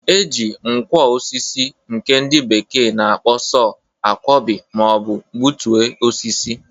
E ji nkwọ osisi nke ndị bekee na-akpo sọ a kwọbị ma ọ bụ gbụtue osisi.